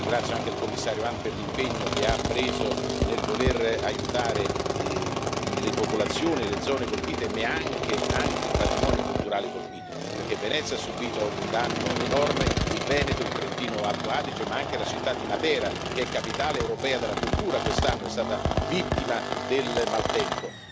Ringrazio anche il Commissario Hahn per l'impegno che ha preso nel voler aiutare le popolazioni e le zone colpite, ma anche il patrimonio culturale colpito, perché Venezia ha subito un danno enorme, il Veneto, il Trentino Alto Adige, ma anche la città di Matera che è capitale europea della cultura quest'anno è stata vittima del maltempo.